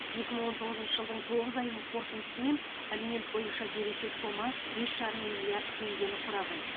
екі мың он тоғызыншы жылдың тоғыз айының қорытындысымен алимент бойынша берешек сома бес жарым миллиард теңгені құраған